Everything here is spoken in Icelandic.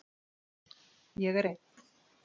Ég er einn.